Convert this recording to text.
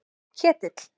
Ketill